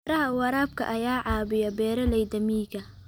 Beeraha waraabka ayaa caawiya beeralayda miyiga.